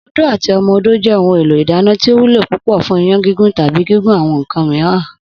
Odó àti o̩mo̩-odó jé̩ ohun èlò ìdáná tí ó wúlò púpò̩ fún iyán gígún tàbí gígún àwo̩n nǹkan mìíràn